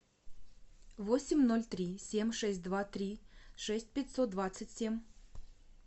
восемь ноль три семь шесть два три шесть пятьсот двадцать семь